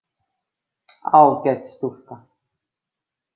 Ágæt stúlka.